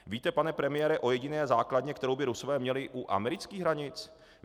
Víte, pane premiére, o jediné základně, kterou by Rusové měli u amerických hranic?